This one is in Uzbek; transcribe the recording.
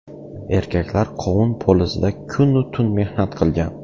Erkaklar qovun polizida kun-u tun mehnat qilgan.